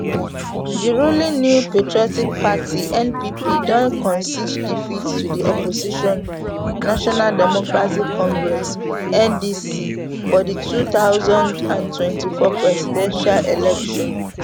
di ruling new patriotic party npp don concede defeat to di opposition national democratic congress ndc for di two thousand and twenty-four presidential election